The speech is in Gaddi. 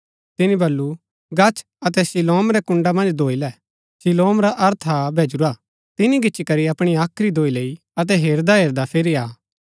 तिनी बल्लू गच्छ अतै शीलोम रै कुण्ड़ा मन्ज धोई लै शीलोम रा अर्थ हा भैजुरा तिनी गिच्ची करी अपणी हाख्री धोई लैई अतै हेरदा हेरदा फिरी आ